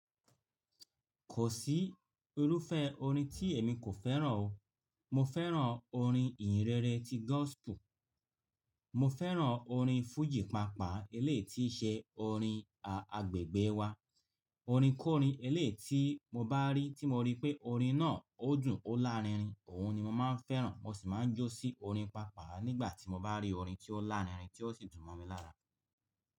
Kò sí irúfẹ́ orin tí èmi kò fẹ́ràn o. Mo fẹ́ràn orin ìhìnrere ti gospel, mo fẹ́ràn orin fújì pàápàá eléyi tií ṣẹ́ orin agbègbè wa. Orin korin eléyi tí mo bá rí tí mo rí pé orin náà ó dùn ó lárinrin, òun ni mo máa ń fẹ́ràn. Mo sì máa ń jó sí orin pàápàá nígbà tí mo bá rí orin tí ó lárinrin tí ó sì dùn mọ́ mi lára.